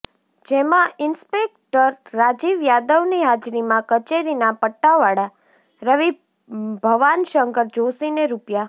જેમાં ઈન્સ્પેકટર રાજીવ યાદવની હાજરીમાં કચેરીના પટ્ટાવાળા રવિ ભવાનશંકર જોષી ને રૂ